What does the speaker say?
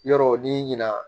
Yɔrɔw ni ɲina